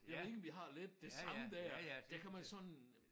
Jeg ved ikke om I har lidt det samme der der kan man sådan